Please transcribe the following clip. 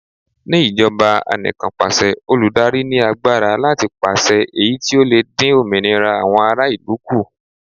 Ní ìjọba Anìkanpàṣẹ, olùdarí ní agbára láti pàṣẹ èyí tí ó lè dín òmìnira àwọn ará ìlú kù.